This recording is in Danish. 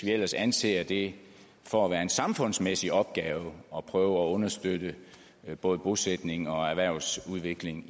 ellers anser det for at være en samfundsmæssig opgave at prøve at understøtte både bosætning og erhvervsudvikling